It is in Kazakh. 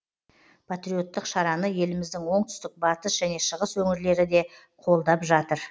патриоттық шараны еліміздің оңтүстік батыс және шығыс өңірлері де қолдап жатыр